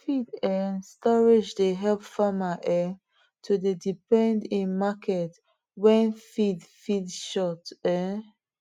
feed um storage dey help farmer um to dey depend in market when feed feed short um